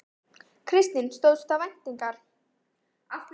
Kristín: Stóðst það væntingar?